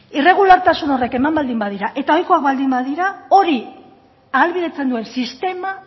irregulartasun horiek eman baldin badira eta ohikoak baldin badira hori ahalbidetzen duen sistema